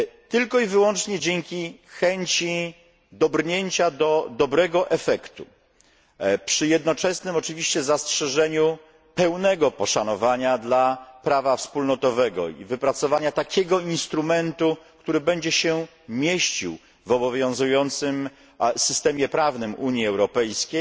Tylko i wyłącznie dzięki chęci dobrnięcia do dobrego efektu przy jednoczesnym oczywiście zastrzeżeniu pełnego poszanowania dla prawa wspólnotowego i wypracowania takiego instrumentu, który będzie się mieścił w obowiązującym systemie prawnym Unii Europejskiej,